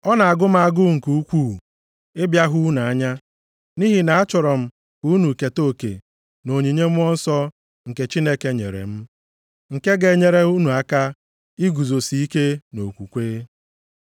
Ọ na-agụ m agụụ nke ukwuu ịbịa hụ unu anya, nʼihi na achọrọ m ka unu keta oke nʼonyinye Mmụọ Nsọ nke Chineke nyere m, nke ga-enyere unu aka iguzosi ike nʼokwukwe.